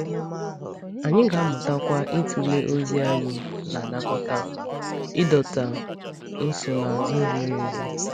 Anyị ga-amụtakwa ịtụle ozi anyị na-anakọta, ịdọta nsonaazụ ziri ezi.